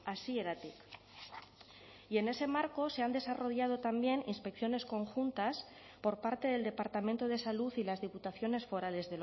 hasieratik y en ese marco se han desarrollado también inspecciones conjuntas por parte del departamento de salud y las diputaciones forales